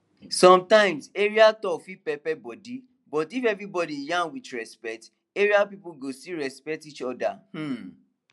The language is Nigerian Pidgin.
sometimes area talk fit pepper body but if everybody yarn with respect area people go still respect each other um